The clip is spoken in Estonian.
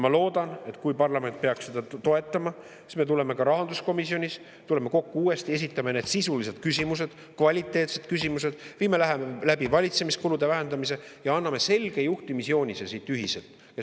Ma loodan, et kui parlament peaks seda toetama, siis me tuleme ka rahanduskomisjonis uuesti kokku, esitame need sisulised küsimused, kvaliteetsed küsimused, viime läbi valitsemiskulude vähendamise ja anname siit ühiselt selge juhtimisjoonise.